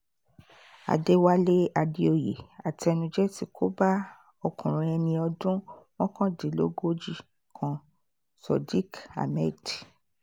àdéwálé àdèoyè àtẹnujẹ tí kò bá ọmọkùnrin ẹni ọdún mọ́kàndínlógójì kan sadiq ahmed